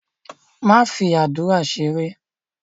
Don't joke with your prayers!